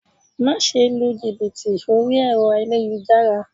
Máse lu jìbìtì orí ẹ̀rọ ayélujára